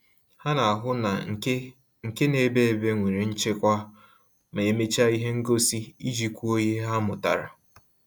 Ha na-ahụ na nke nke na ebe ebe nwere nchekwa ma emecha ihe ngosi, iji kwuo ihe ha mụtara